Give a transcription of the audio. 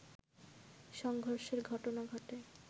সংঘর্ষের ঘটনা ঘটে